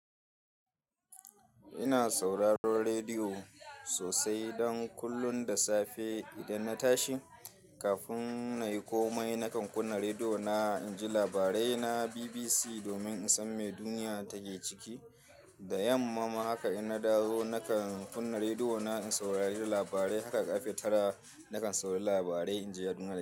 Ina sauraron rediyo sosai don kullun da safe idan na tashi kafin na yi komai nakan kunna rediyo na inji labarai na BBC domin in san me duniya take ciki. Da yamma ma haka in na dawo nakan kunna rediyo na in saurari labarai. Haka ƙarfe tara nakan saurari labarai inji yaɗuna da safe.